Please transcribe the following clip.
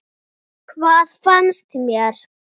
Hvað fannst mér?